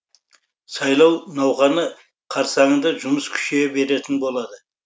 сайлау науқаны қарсаңында жұмыс күшейе беретін болады